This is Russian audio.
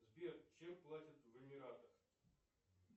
сбер чем платят в эмиратах